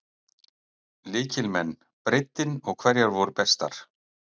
Lykilmenn, breiddin og hverjar voru bestar?